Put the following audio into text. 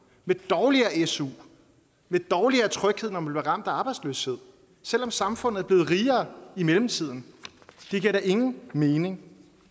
med dårligere su med dårligere tryghed når man bliver ramt af arbejdsløshed selv om samfundet er blevet rigere i mellemtiden det giver da ingen mening